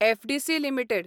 FDC limited